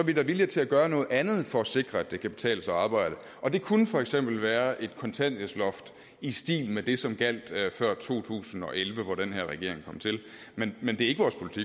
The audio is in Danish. vi da villige til at gøre noget andet for at sikre at det kan betale sig at arbejde og det kunne for eksempel være et kontanthjælpsloft i stil med det som gjaldt før to tusind og elleve hvor den her regering kom til men men det